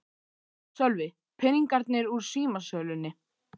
Sölvi: Peningarnir úr símasölunni?